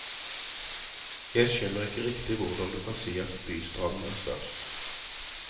Jeg skjønner ikke riktig hvordan du kan si at bystranden er størst.